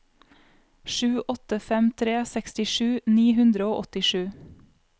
sju åtte fem tre sekstisju ni hundre og åttisju